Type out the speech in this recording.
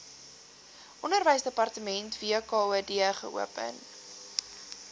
onderwysdepartement wkod geopen